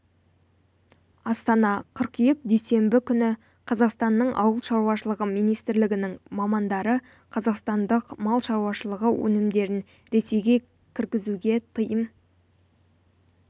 астана қыркүйек дүйсенбі күні қазақстанның ауыл шаруашылығы министрлігінің мамандары қазақстандық мал шаруашылығы өнімдерін ресейге кіргізуге тыйым